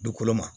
Dugukolo ma